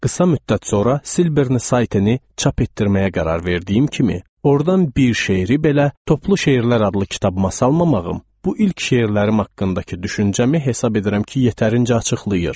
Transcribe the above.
Qısa müddət sonra Silberni Saitini çap etdirməyə qərar verdiyim kimi, ordan bir şeiri belə toplu şeirlər adlı kitabımasa almamağım, bu ilk şeirlərim haqqındakı düşüncəmi hesab edirəm ki, yetərincə açıqlayır.